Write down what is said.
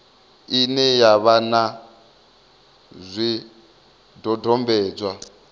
ine ya vha na zwidodombedzwa